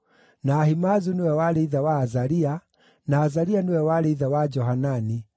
na Ahimaazu nĩwe warĩ ithe wa Azaria, na Azaria nĩwe warĩ ithe wa Johanani,